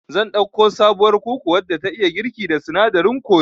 Zan ɗauko sabuwar kuku wadda ta iya girki da sinadarin kori